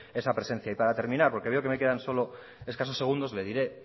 esa presencia y para terminar porque veo que me quedan solo escasos segundos le diré